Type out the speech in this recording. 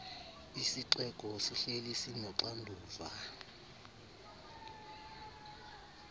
isixeko sihleli sinoxanduva